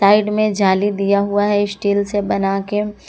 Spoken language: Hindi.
साइड में जाली दिया हुआ है स्टील से बनाके ।